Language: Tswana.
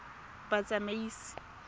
batsamaisi